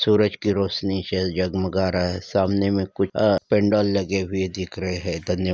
सूरज की रोशनी से झग-मगा रहा सामने मे कुछ अह लगे हुए दिख रहे है धन्यवाद।